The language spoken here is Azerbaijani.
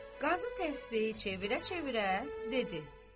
Qazı təsbehi çevirə-çevirə dedi.